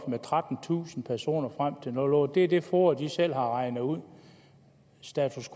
med trettentusind personer det er det foa selv har regnet ud status